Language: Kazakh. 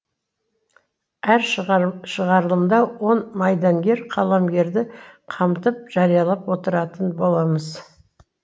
әр шығарылымда он майдангер қаламгерді қамтып жариялап отыратын боламыз